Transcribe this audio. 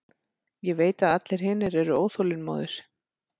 Ég veit að allir hinir eru óþolinmóðir.